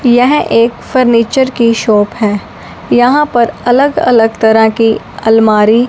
यह एक फर्नीचर की शॉप है यहां पर अलग अलग तरह की अलमारी--